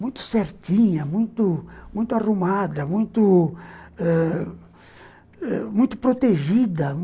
muito certinha, muito muito arrumada, muito muito ãh muito protegida.